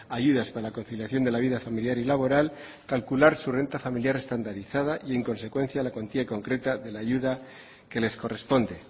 ayudas para la conciliación de la vida familiar y laboral calcular su renta familiar estandarizada y en consecuencia la cuantía concreta de la ayuda que les corresponde